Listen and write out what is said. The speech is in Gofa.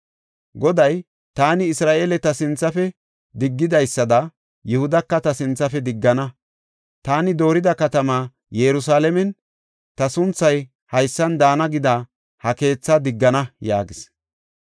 Goday, “Taani Isra7eele ta sinthafe diggidaysada, Yihudaka ta sinthafe diggana; taani doorida katama, Yerusalaamenne ‘Ta sunthay haysan daana’ gida ha keethaa diggana” yaagis.